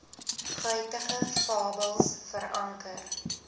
guitige fabels veranker